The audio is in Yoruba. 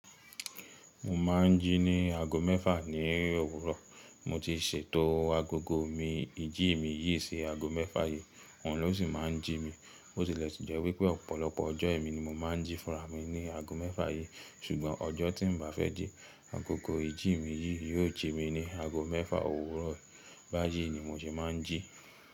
Mo máà ń jí ní aago mẹ́fà ní òwúrọ̀. Mo ti ṣètò agogo mi, ìjí mi yìí sí aago mẹ́fà yìí, òun ló sì máa ń jí mi. Bo sì lẹ́sì jẹ́ wípé ọ̀pọ̀lọpọ̀ ọjọ́ emi ni mo máa ń jí fúnra mi ní aago mẹ́fà yìí. Ṣùgbọ́n ọjọ́ tí n bá fẹ́ jí, agogo ìjí mi yìí yóò jí mi ní aago mẹ́fà òwúrọ̀. Báyìí ni mo ṣe máa ń jí.